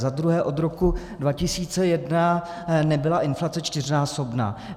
Za druhé, od roku 2001 nebyla inflace čtyřnásobná.